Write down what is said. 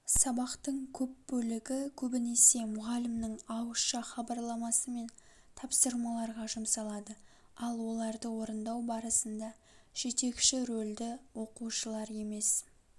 сабақтың көп бөлігі көбінесе мұғалімнің ауызша хабарламасы мен тапсырмаларға жұмсалады ал оларды орындау барысында жетекші рөлді оқушылар емес